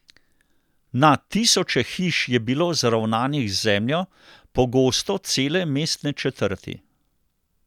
Na tisoče hiš je bilo zravnanih z zemljo, pogosto cele mestne četrti.